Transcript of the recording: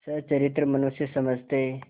सच्चरित्र मनुष्य समझते